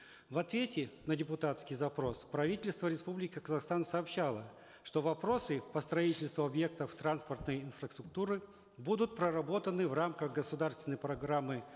в ответе на депутатский запрос правительство республики казахстан сообщало что вопросы по строительству объектов транспортной инфраструктуры будут проработаны в рамках государственной программы